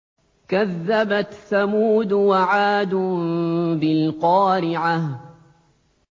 كَذَّبَتْ ثَمُودُ وَعَادٌ بِالْقَارِعَةِ